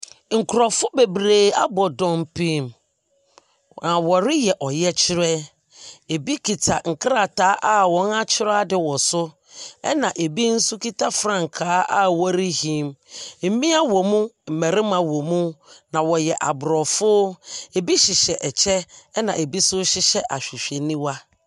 Nkorɔfo bebree abɔ dɔmpim na ɔreyɛ ɔyɛkyerɛ. Ebi kita nkrataa a wɔn akyerɛ ade wɔ so ɛna ebi nso kita frankaa a ɔrehim. Mmea wɔ mu, mmarimma wɔ mu na ɔyɛ abrɔfo. Ebi hyehyɛ ɛkyɛ ɛna ebi nso hyɛ ahwehwɛniwa.